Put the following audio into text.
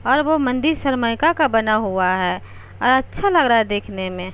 और वो मंदिर सरमाइका का बना हुआ है और अच्छा लग रहा है देखने में।